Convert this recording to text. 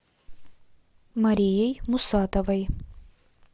марией мусатовой